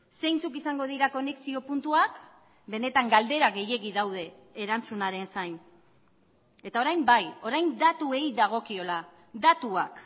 zeintzuk izango dira konexio puntuak benetan galdera gehiegi daude erantzunaren zain eta orain bai orain datuei dagokiola datuak